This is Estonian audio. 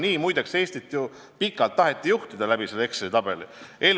Nii, muide, Eestit pikalt ju tahetigi juhtida, selle Exceli tabeli abil.